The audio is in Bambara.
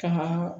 Kama